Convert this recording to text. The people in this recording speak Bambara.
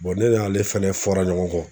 ne n'ale fɛnɛ fɔra ɲɔgɔn kɔ.